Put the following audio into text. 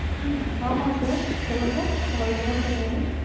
ஹம் ஆமா sir சொல்லுங்க உங்களுக்கு என்னங் sir வேணும்